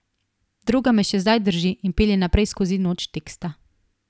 Droga me še zdaj drži in pelje naprej skozi noč teksta.